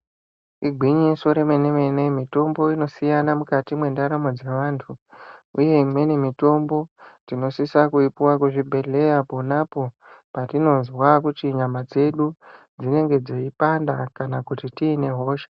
Igwinyiso remene-mene, mitombo inosiyana mukati mwendaramo dzevantu, uye imweni mitombo tinosise kuipuwa kuzvibhedhlera ponapo petinozwa kuti nyama dzedu dzeipanda kana kuti tiine hosha.